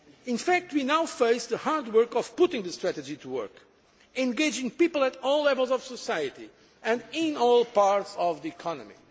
In fact, we now face the hard work of putting the strategy to work engaging people at all levels of society and in all parts of the economy.